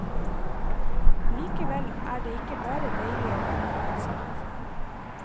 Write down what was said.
Likevel er det ikke bare deilig å være forelsket.